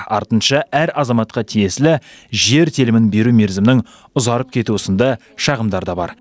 артынша әр азаматқа тиесілі жер телімін беру мерзімінің ұзарып кетуі сынды шағымдар да бар